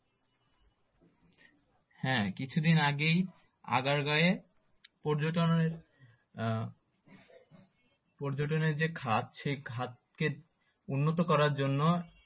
হ্যাঁ কিছু দিন আগেই আগারগাঁওয়ে পর্যটনের আহ পর্যটনের যে খাদ সেই খাদকে উন্নত করার জন্য